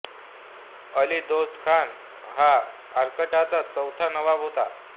अली दोस्त खान हा अर्काटचा चौथा नवाब होता